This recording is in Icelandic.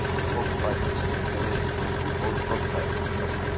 Fólk fæddist lifði dó í fótspor feðra sinna.